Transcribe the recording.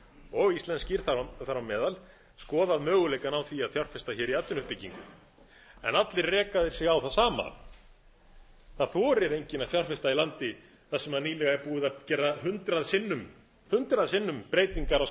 og íslenskir þar á meðal skoðað möguleikann á að fjárfesta hér í atvinnuuppbyggingu en allir reka þeir sig á það sama það þorir enginn að fjárfesta í landi þar sem nýlega er búið að gera hundrað sinnum hundrað sinnum breytingar á